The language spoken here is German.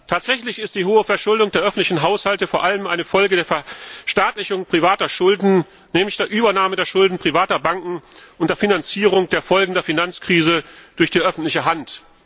Tatsächlich ist die hohe Verschuldung der öffentlichen Haushalte vor allem eine Folge der Verstaatlichung privater Schulden, nämlich der Übernahme der Schulden privater Banken und der Finanzierung der Folgen der Finanzkrise durch die öffentliche Hand.